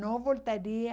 Não voltaria.